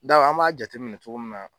an b'a jateminɛ cogo min na